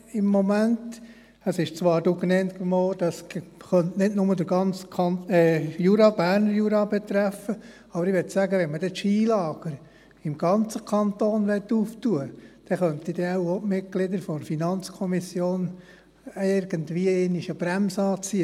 Es wurde zwar dann genannt, es könnte nicht nur den ganzen Berner Jura betreffen, und ich möchte sagen, wenn man dann die Skilager im ganzen Kanton öffnen möchte, dann könnten dann wohl auch die Mitglieder der FiKo irgendwie einmal eine Bremse anziehen.